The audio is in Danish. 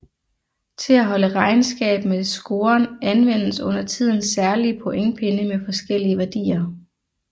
Til at holde regnskab med scoren anvendes undertiden særlige pointpinde med forskellige værdier